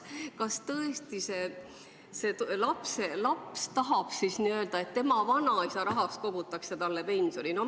Kas tõesti lapselaps tahab, et tema vanaisa tasku arvel kogutakse talle pensioni?